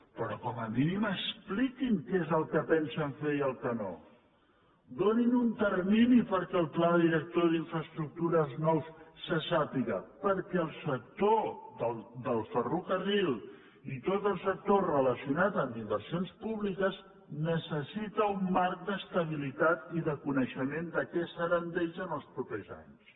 però com a mínim expliquin què és el que pensen fer i el que no donin un termini perquè el pla director d’infraestructures nou se sàpiga perquè el sector del ferrocarril i tot el sector relacionat amb inversions públiques necessiten un marc d’estabilitat i de coneixement de què serà d’ells els propers anys